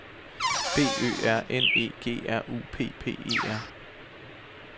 B Ø R N E G R U P P E R